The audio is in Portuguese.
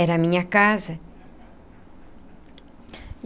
Era a minha casa.